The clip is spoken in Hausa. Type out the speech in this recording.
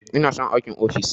Ina son aikin ofis.